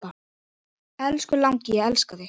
Elsku langi, ég elska þig.